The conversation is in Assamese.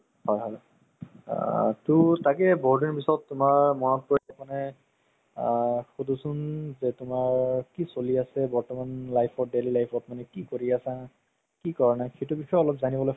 হ'ল হ'ল তোৰ তাকেই বহুত দিন পিছত তুমাৰ মনত পৰিল মানে আ শুধোছোন যে তুমাৰ কি চলি আছে বৰ্তমান life ত daily life ত মানে কি কৰি আছা কি কৰা নাই সেইটো বিষয়ে অলপ যানিবলৈ